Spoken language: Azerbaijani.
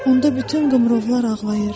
Onda bütün qumrular ağlayır.